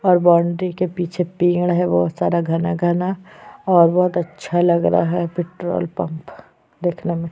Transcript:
और बाउंड्री के पीछे पेड़ है बोहोत सारा घना- घना और बोहोत अच्छा लग रहा है पेट्रोल पंप देखने में --